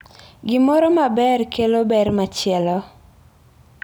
Gimoro maber kelo ber machielo.